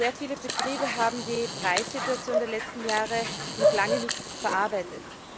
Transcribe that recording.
Sehr viele Betriebe haben die Preissituation der letzten Jahre noch lange nicht verarbeitet.